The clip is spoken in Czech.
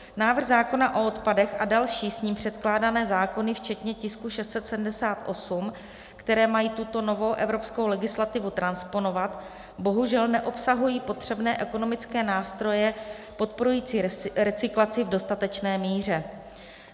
Návrh zákona o odpadech a další s ním předkládané zákony včetně tisku 678, které mají tuto novou evropskou legislativu transponovat, bohužel neobsahují potřebné ekonomické nástroje podporující recyklaci v dostatečné míře.